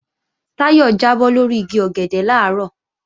Táyọ̀ jábọ́ lórí igi ọ̀gẹ̀dẹ̀ làárọ̀